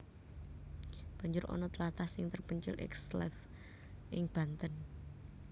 Banjur ana tlatah sing terpencil ekslave ing Banten